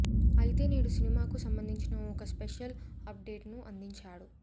అయితే నేడు సినిమాకు సంబందించిన ఒక స్పెషల్ అప్డేట్ ను అందించారు